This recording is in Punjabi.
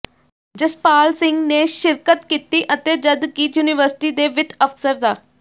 ਜਸਪਾਲ ਸਿੰਘ ਨੇ ਸ਼ਿਰਕਤ ਕੀਤੀ ਅਤੇ ਜਦਕਿ ਯੂਨੀਵਰਸਿਟੀ ਦੇ ਵਿੱਤ ਅਫ਼ਸਰ ਡਾ